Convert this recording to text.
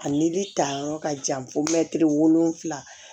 A nili ta yɔrɔ ka jan fo mɛtiri wolonwula